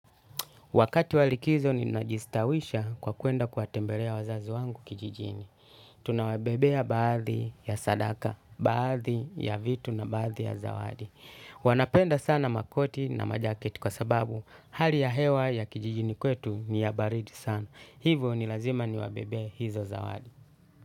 Wakati wa likizo ninajistawisha kwa kwenda kuwatembelea wazazi wangu kijijini. Tunawebebea baadhi ya sadaka, baadhi ya vitu na baadhi ya zawadi. Wanapenda sana makoti na majaketi kwa sababu hali ya hewa ya kijijini kwetu ni ya baridi sana. Hivyo ni lazima niwebebee hizo zawadi.